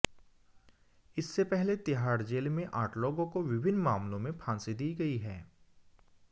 इससे पहले तिहाड़ जेल में आठ लोगों को विभिन्न मामलों में फांसी दी गई है